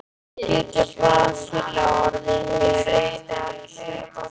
Getur Brasilía orðið Heimsmeistari í sjötta sinn?